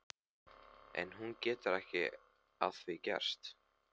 En hún getur ekki að því gert.